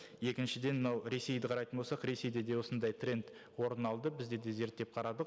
екіншіден мынау ресейді қарайтын болсақ ресейде де осындай тренд орын алды бізде де зерттеп қарадық